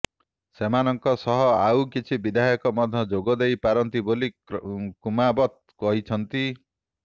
ସେମାନଙ୍କ ସହ ଆଉ କିଛି ବିଧାୟକ ମଧ୍ୟ ଯୋଗଦେଇ ପାରନ୍ତି ବୋଲି କୁମାବତ କହିଛନ୍ତି